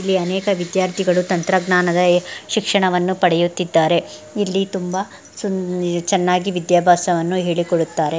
ಇಲ್ಲಿ ಅನೇಕ ವಿದ್ಯಾರ್ಥಿಗಳು ತಂತ್ರಜ್ಞಾನದ ಶಿಕ್ಷಣವನ್ನು ಪಡೆಯುತ್ತಿದ್ದಾರೆ ಇಲ್ಲಿ ತುಂಬಾ ಸುಂ ಚೆನ್ನಾಗಿ ವಿದ್ಯಾಭ್ಯಾಸವನ್ನು ಹೇಳಿ ಕೊಡುತ್ತಾರೆ .